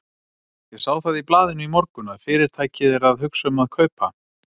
Ég sá það í blaðinu í morgun, að Fyrirtækið er að hugsa um að kaupa